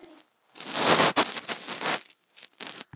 Hann þekkti svæðið reyndar vel.